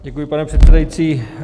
Děkuji, pane předsedající.